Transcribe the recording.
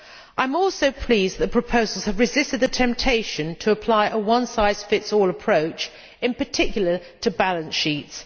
I am also pleased the proposals have resisted the temptation to apply a one size fits all approach, in particular to balance sheets.